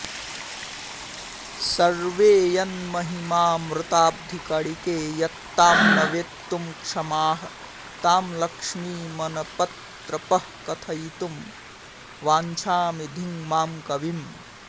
सर्वे यन्महिमामृताब्धिकणिकेयत्तां न वेत्तुं क्षमाः तां लक्ष्मीमनपत्रपः कथयितुं वाञ्छामि धिङ्मां कविम्